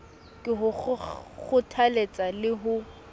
ke ho kgothaletsa le ho